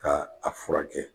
Ka a furakɛ .